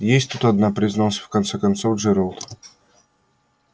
есть тут одна признался в конце концов джералд